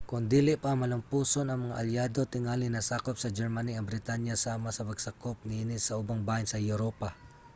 kon dili pa malamposon ang mga alyado tingali nasakop sa germany ang britanya sama sa pagsakop niini sa ubang bahin sa europa